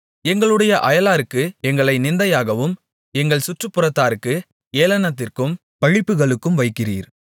எங்களுடைய அயலாருக்கு எங்களை நிந்தையாகவும் எங்கள் சுற்றுப்புறத்தாருக்கு ஏளனத்திற்கும் பழிப்புகளுக்கும் வைக்கிறீர்